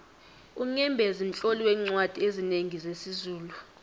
unyembezi mtloli weencwadi ezinengi zesizulu